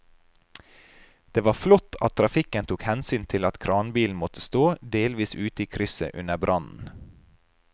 Det var flott at trafikken tok hensyn til at kranbilen måtte stå delvis ute i krysset under brannen.